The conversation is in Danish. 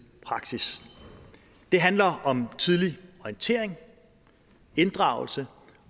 praksis det handler om tidlig orientering inddragelse